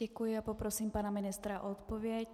Děkuji a poprosím pana ministra o odpověď.